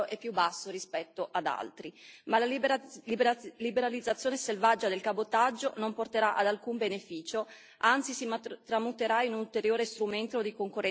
basso rispetto ad altri, ma la liberalizzazione selvaggia del cabotaggio non porterà ad alcun beneficio, anzi si tramuterà in un ulteriore strumento di concorrenza sleale.